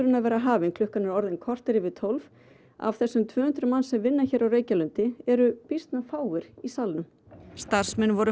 að vera hafinn klukkan er orðin kortér yfir tólf af þessum tvö hundruð sem vinna á Reykjalundi eru býsna fáir í salnum starfsmenn voru